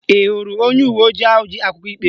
Ị hụrụ onye uwe ojii ahụ ji akwụkwọ ikpe?